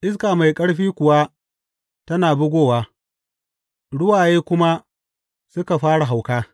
Iska mai ƙarfi kuwa tana bugowa, ruwaye kuma suka fara hauka.